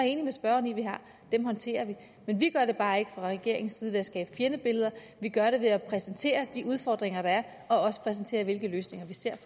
enig med spørgeren i at vi har håndterer vi men vi gør det bare ikke fra regeringens side ved at skabe fjendebilleder vi gør det ved at præsentere de udfordringer der er og præsentere hvilke løsninger vi ser